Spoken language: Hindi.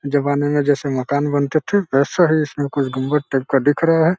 जमाने मे जैसे मकान बनते थे वैसा ही इसमें कुछ गुम्बद टाइप का दिख रहा है।